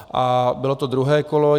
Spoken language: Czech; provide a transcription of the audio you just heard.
A bylo to druhé kolo.